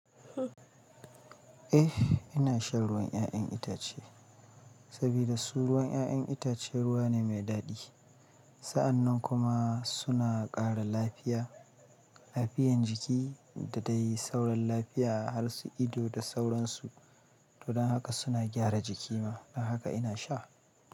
Eh ina shan ruwan 'ya'yan itace sabida su ruwan 'ya'ya itace ruwa ne me daɗi. Sa'annan kuma suna ƙara lafiya, lafiyan jiki da dai sauran lafiya har su ido da sauransu. Don haka suna gyara jiki ma, don haka ina sha.